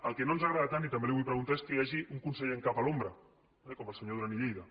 el que no ens agrada tant i també li ho vull preguntar és que hi hagi un conseller en cap a l’ombra eh com el senyor duran i lleida